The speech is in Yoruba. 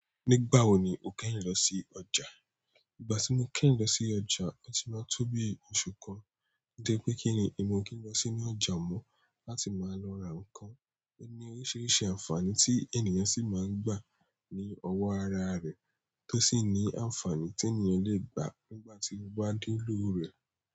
Nígbà wo ni o kẹ́yin lọ sí ọjà? Ìgbà tí mo kẹ́yin lọ sí ọjà, ó ti máa tó bí òṣù kan. Nítorí pé kíni. Èmi o kí n lọ sínú ọjà mọ́, láti máa lọ ra nǹkan óní oríṣiríṣi àǹfààní tí ènìyàn sì máa ń gbà ní ọwọ́ ara rẹ̀ tó sì ní àǹfààní tí ènìyàn le è gbà nígbà tí ó bá nílò rẹ̀.